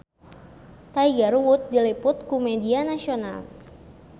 Tiger Wood diliput ku media nasional